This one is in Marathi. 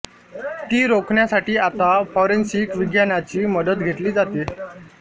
ती रोखण्यासाठी आता फॉरेन्सिक विज्ञानाची मदत घेतली जाते